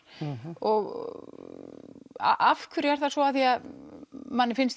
og af hverju er það svo því manni finnst